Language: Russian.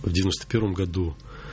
в девяносто первом году